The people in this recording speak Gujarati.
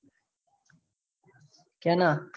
કેના